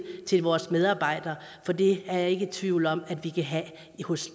til vores medarbejdere for det er jeg ikke i tvivl om at vi kan have